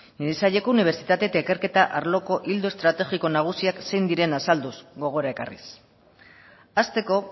nire saileko unibertsitate eta ikerketa arloko ildo estrategiko nagusiak zein diren azalduz gogora ekarriz hasteko